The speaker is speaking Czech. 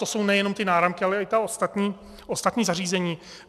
To jsou nejenom ty náramky, ale i ta ostatní zařízení.